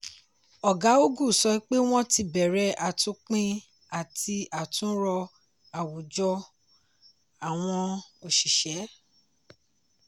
ọ̀gá ogu sọ pé wọn ti bẹ̀rẹ̀ àtúnpín àti àtúnrò àwùjọ àwọn oṣìṣẹ́.